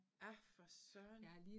Ja for søren